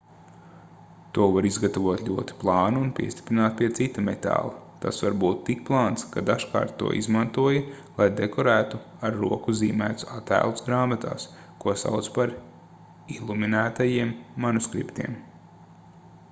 to var izgatavot ļoti plānu un piestiprināt pie cita metāla tas var būt tik plāns ka dažkārt to izmantoja lai dekorētu ar roku zīmētus attēlus grāmatās ko sauca par iluminētajiem manuskriptiem